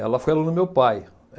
Ela foi aluna do meu pai.